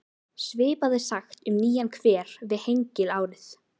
Svipað er sagt um nýjan hver við Hengil árið